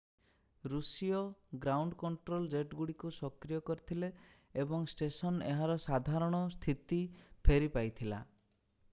ଋଷୀୟ ground control ଜେଟଗୁଡ଼ିକୁ ସକ୍ରିୟ କରିଥିଲେ ଏବଂ ଷ୍ଟେସନ୍ ଏହାର ସାଧାରଣ ସ୍ଥିତି ଫେରି ପାଇଥିଲା